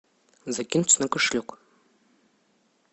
закинуть на кошелек